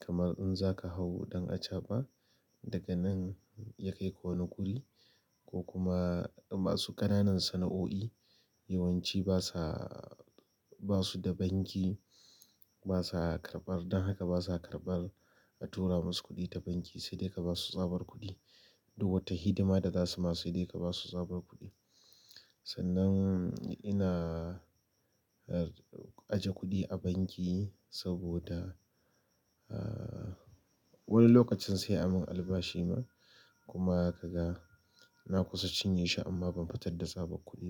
kamar in zaka hau ɗan acaba, daga nan ya kai ka wani guri ko kuma masu ƙananan sana'o'i, yawanci basa, ba su da banki, basa karɓar, don haka basa karɓar a tura musu kuɗi ta banki, sai dai ka basu tsabar kuɗi. Duk wata hidima da za su ma sai dai ka basu tsabar kuɗi. Sannan ina, aje kuɗi a banki saboda, ah, wani lokacin sai a mun albashi ma kuma ka ga na kusa cinye shi amma ban fitar da tsabar kuɗi ba.